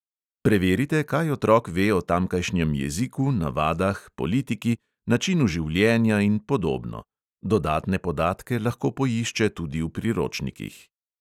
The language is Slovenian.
Preverite, kaj otrok ve o tamkajšnjem jeziku, navadah, politiki, načinu življenja in podobno (dodatne podatke lahko poišče tudi v priročnikih).